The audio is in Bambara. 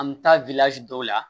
An mi taa dɔw la